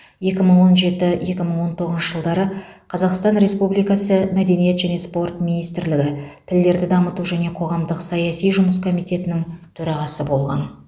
екі мың он жеті екі мың он тоғызыншы жылдары қазақстан республикасы мәдениет және спорт министрлігі тілдерді дамыту және қоғамдық саяси жұмыс комитетінің төрағасы болған